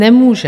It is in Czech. Nemůže.